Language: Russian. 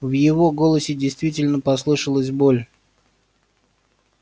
в его голосе действительно послышалась боль